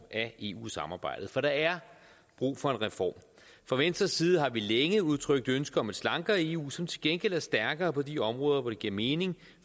af eu samarbejdet for der er brug for en reform fra venstres side har vi længe udtrykt et ønske om et slankere eu som til gengæld er stærkere på de områder hvor det giver mening